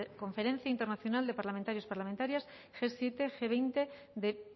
conferencia internación de parlamentarios parlamentarias ge siete ge veinte de